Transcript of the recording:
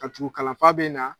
Ka tugu kalanfa bɛ na